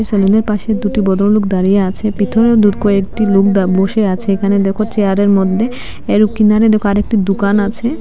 সেলুনের পাশে দুটি বদ্রলোক দাঁড়িয়ে আছে বিতোরেও দূর কয়েকটি লোক দা বসে আছে এখানে দেখো চেয়ারের মধ্যে এরও কিনারে দেখো আরেকটি দুকান আছে।